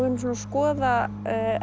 erum svona að skoða